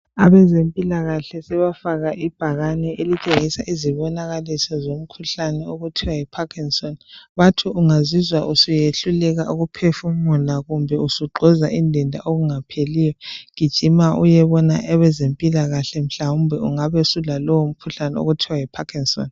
Abezempilakahle sebafaka ibhakane elitshengisa izibonakaliso somkhuhlane okuthiwa Yi parkinson , bathi ungazizwa susehluleka ukuphefumula kumbe usugxoza indenda okungapheliyo gijima uyebona abezempilakahle mhlawumbe ingabe sulalowo mkhuhlane okuthiwa yi parkinson